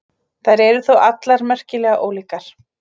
Þær eru þó allar merkilega ólíkar.